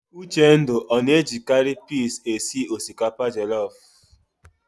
Uchendu ọ na-ejikarị pis esi osikapa jelọf?